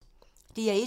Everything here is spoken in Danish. DR1